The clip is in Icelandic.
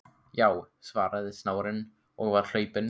Já, svaraði snáðinn og var hlaupinn.